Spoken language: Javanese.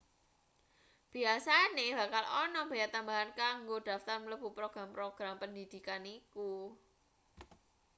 biasane bakal ana bea tambahan kanggo daftar mlebu program-program pendhidhikan iku